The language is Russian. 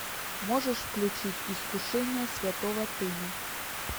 можешь включить искушение святого тыну